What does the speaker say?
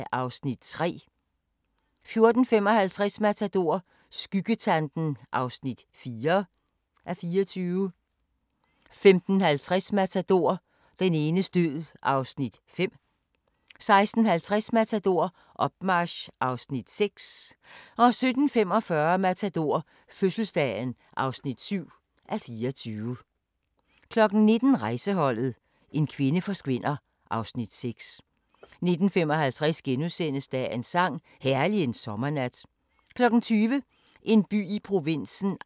05:30: Airport 08:10: Kurs mod fjerne kyster (Afs. 5) 09:10: Kurs mod fjerne kyster (Afs. 6) 10:10: Kurs mod fjerne kyster (Afs. 7) 11:10: Kurs – de mest eventyrlige øjeblikke 12:10: Victoria 40 år - tæt på kronprinsessen (1:2)* 12:55: Victoria 40 år - tæt på kronprinsessen (2:2)* 13:45: Toppen af poppen 14:45: Toppen af poppen 15:45: Toppen af poppen